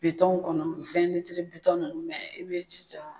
Bitɔnw kɔnɔ, bitɔns nunnu i bɛ ji.